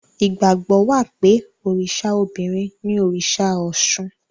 Ìgbàgbọ́ wà pé òrìṣà obìnrin ni òrìṣà Ọ̀ṣun.